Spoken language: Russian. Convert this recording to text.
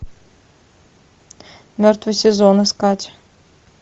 мертвый сезон искать